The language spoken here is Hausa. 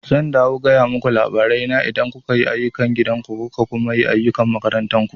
Zan dawo gaya muku labarai na idan kuka yi ayukan gidan ku kuka kuma yi ayukan makarantar ku